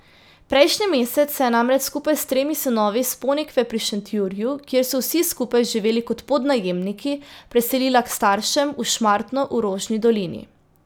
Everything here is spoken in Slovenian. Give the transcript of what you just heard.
Prejšnji mesec se je namreč skupaj s tremi sinovi s Ponikve pri Šentjurju, kjer so vsi skupaj živeli kot podnajemniki, preselila k staršem v Šmartno v Rožni dolini.